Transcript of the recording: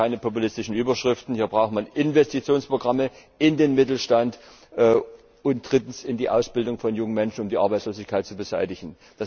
Da helfen keine populistischen Überschriften, hier braucht man Investitionsprogramme in den Mittelstand und die Ausbildung von jungen Menschen, um die Arbeitslosigkeit zu beseitigen.